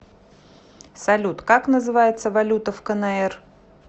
салют как называется валюта в кнр